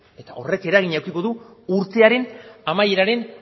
eta horrek eragina edukiko du urtearen amaiaren